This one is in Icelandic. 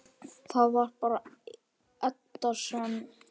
Það var bara Edda sem.